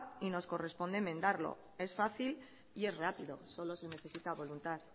y nos corresponde enmendarlo es fácil y es rápido solo se necesita voluntad